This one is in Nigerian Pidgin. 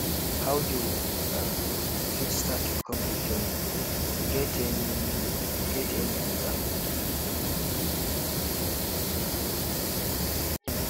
how you um fit start recovery journey you get any you get any idea